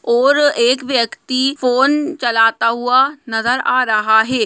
और एक व्यक्ति फोन चलाता हुआ नज़र आ रहा है।